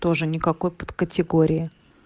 тоже никакой подкатегории